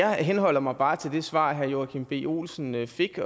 og jeg henholder mig bare til det svar herre joachim b olsen fik